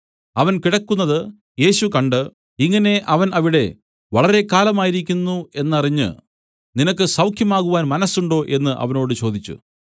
അവൻ കിടക്കുന്നത് യേശു കണ്ട് ഇങ്ങനെ അവൻ അവിടെ വളരെ കാലമായിരിക്കുന്നു എന്നറിഞ്ഞ് നിനക്ക് സൌഖ്യമാകുവാൻ മനസ്സുണ്ടോ എന്നു അവനോട് ചോദിച്ചു